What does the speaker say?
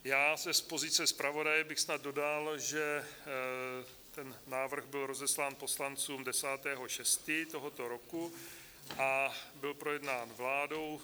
Já z pozice zpravodaje bych snad dodal, že ten návrh byl rozeslán poslancům 10. 6. tohoto roku a byl projednán vládou.